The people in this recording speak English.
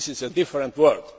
This is a different